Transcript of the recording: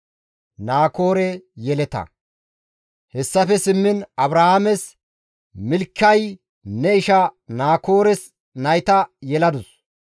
Hessafe simmiin Abrahaames, «Milkay ne isha Naakoores nayta yeladus.